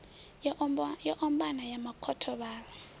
yo ombana ya makhotho vhaḽa